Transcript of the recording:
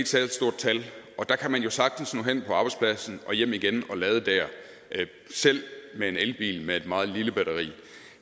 særlig stort tal og der kan man jo sagtens nå hen på arbejdspladsen og hjem igen og lade der selv med en elbil med et meget lille batteri